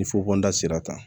Ni fufonda sera tan